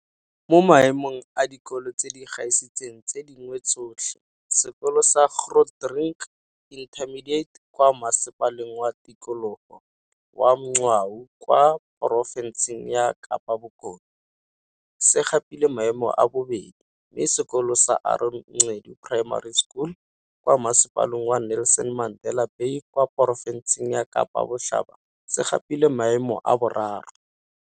Mo Maemong a Dikolo tse di Gaisitseng tse Dingwe Tsotlhe, sekolo sa Grootdrink Intermediate kwa Masepaleng wa Tikologo wa Mgcawu kwa porofenseng ya Kapa Bokone, se gapile maemo a bobedi, mme sekolo sa Aaron Gqedu Primary School, kwa Masepaleng wa Nelson Mandela Bay kwa porofenseng ya Kapa Botlhaba se gapile maemo a boraro.